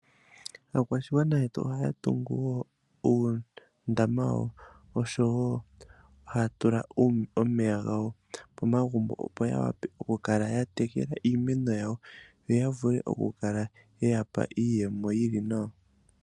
Aakwashigwana yetu ohaya tungu wo uundama osho wo ohaya tula omeya gawo pomagumbo opo yawape okukala yatekela iimeno yawo yo yavule okukala yeyapa iiyemo yili nawa.